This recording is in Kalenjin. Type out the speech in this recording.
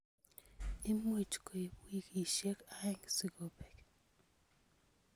Imuch koib wikishek aeng sikobek.